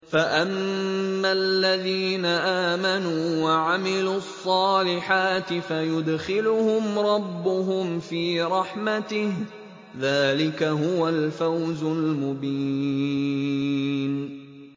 فَأَمَّا الَّذِينَ آمَنُوا وَعَمِلُوا الصَّالِحَاتِ فَيُدْخِلُهُمْ رَبُّهُمْ فِي رَحْمَتِهِ ۚ ذَٰلِكَ هُوَ الْفَوْزُ الْمُبِينُ